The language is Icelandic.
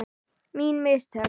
Mín mistök?